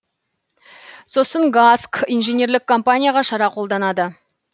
сосын гаск инженерлік компанияға шара қолданады